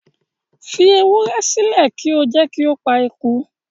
Fi ewúrẹ́ sílẹ̀ kí o jẹ́ kí ó pa eku